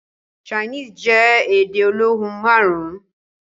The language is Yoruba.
Chinese jẹ́ èdè olóhùn márùn.